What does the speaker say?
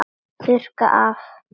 Þurrka af.